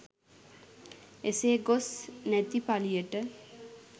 එසේ ගොස් නැති පලියට